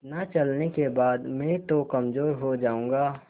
इतना चलने के बाद मैं तो कमज़ोर हो जाऊँगा